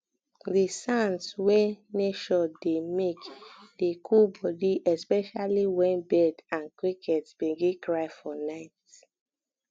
di sounds wey um nature dey um make dey cool body especially wen um bird and cricket begin cry for nite